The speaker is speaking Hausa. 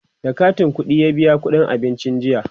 da katin ƙuɗiya biya ƙuɗin abincin jiya